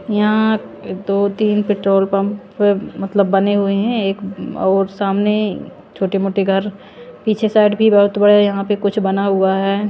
यहां दो-तीन petrol pump मतलब बने हुए हैं एक और सामने छोटे-मोटे घर पीछे साइड भी बहुत बड़ा यहां पे कुछ बना हुआ है।